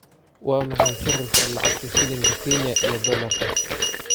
Waa maxay sarifka lacagta shilinka Kenya iyo dollarka?